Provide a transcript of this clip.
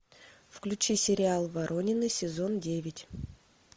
включи сериал воронины сезон девять